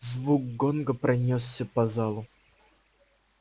звук гонга пронёсся по залу